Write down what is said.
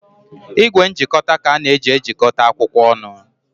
Igwe njikọta ka a na-eji ejikọta akwụkwọ ọnụ.